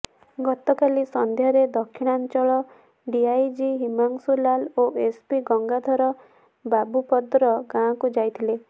ଗତକାଲି ସନ୍ଧ୍ୟାରେ ଦକ୍ଷିଣାଞ୍ଚଳ ଡିଆଇଜି ହିମାଂଶୁ ଲାଲ ଓ ଏସ୍ପିି ଗଙ୍ଗାଧର ବାବୁପଦର ଗାଁକୁ ଯାଇଥିଲେ